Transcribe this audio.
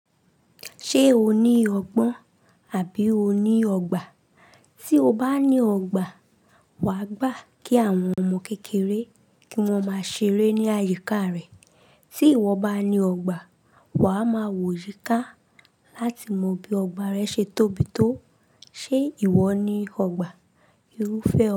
Ṣé o ní ọgbọ́n àbí o ní ọgbà? Tí o bá ní ọgbà, wà á gbà kí àwọn ọmọ kékeré kí wọ́n máa ṣeré ní àyíká rẹ̀. Tí ìwọ bá ní ọgbà, wà á máa wò yíká láti mọ bí ọgbà rẹ ṣe tóbi tó. Ṣé ìwọ ní ọgbà? Irúfẹ́